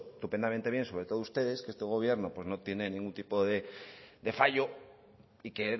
todo estupendamente bien sobre todo ustedes que este gobierno pues no tiene ningún tipo de fallo y que